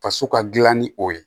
Faso ka dilan ni o ye